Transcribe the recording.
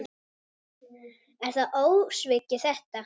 Er það ósvikið þetta?